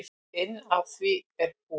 Inn af því er búr.